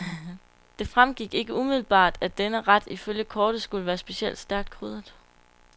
Det fremgik ikke umiddelbart, at denne ret ifølge kortet skulle være specielt stærkt krydret.